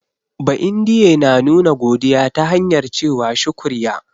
Ba'indiye na nuna godiya ta hanyar ce wa "shukriya".